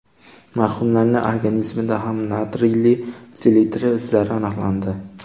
Marhumlarning organizmida ham natriyli selitra izlari aniqlandi.